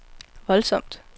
voldsomt